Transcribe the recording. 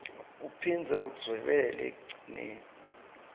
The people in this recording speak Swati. uphindze udvwebele ekugcineni